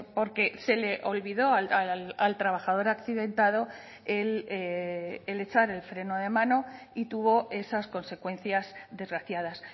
porque se le olvidó al trabajador accidentado el echar el freno de mano y tuvo esas consecuencias desgraciadas